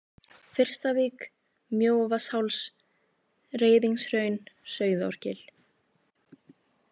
Fyrstavík, Mjóavatnsháls, Reiðingshraun, Sauðárgil